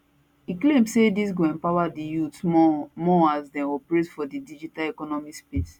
e claim say dis go empower di youth more more as dem operate for di digital economy space